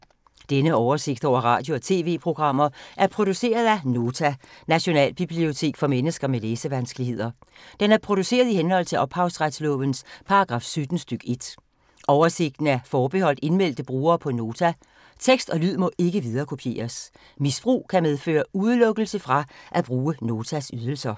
Denne oversigt over radio og TV-programmer er produceret af Nota, Nationalbibliotek for mennesker med læsevanskeligheder. Den er produceret i henhold til ophavsretslovens paragraf 17 stk. 1. Oversigten er forbeholdt indmeldte brugere på Nota. Tekst og lyd må ikke viderekopieres. Misbrug kan medføre udelukkelse fra at bruge Notas ydelser.